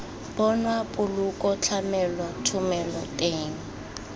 bonwa poloko tlamelo thomelo teng